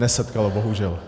Nesetkalo. Bohužel.